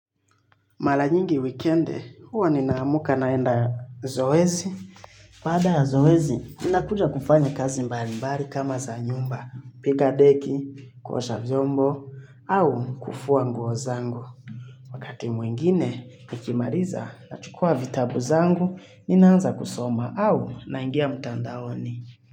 Mara nyingi wikendi, huwa ninaamka naenda zoezi. Baada ya zoezi, nina kuja kufanya kazi mbali mbali kama za nyumba. Piga deki, kuosha vyombo au kufua nguo zangu. Wakati mwingine nikimaliza, nachukua vitabu zangu ninaanza kusoma au naingia mtandaoni.